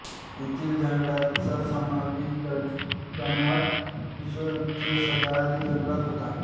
येथील जंगलाचा समावेश दमट विषववृत्तीय सदाहरित जंगलात होतो